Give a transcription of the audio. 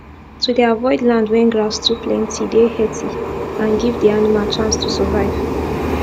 to dey avoid land wen grass too plenty dey heathy and give the animal chance to survive